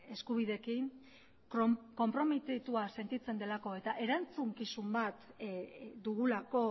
eskubideekin konprometitua sentitzen delako eta erantzukizun bat dugulako